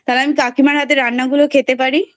তাহলে আমি কাকিমার হাতের রান্না গুলো খেতে পারি।